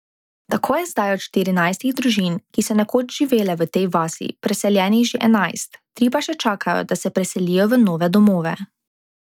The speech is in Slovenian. Tako je zdaj od štirinajstih družin, ki so nekoč živele v tej vasi, preseljenih že enajst, tri pa še čakajo, da se preselijo v nove domove.